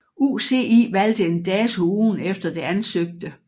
UCI valgte en dato ugen efter det ansøgte